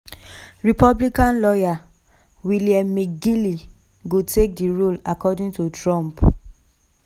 republican lawyer william mcginley go take di role according to trump.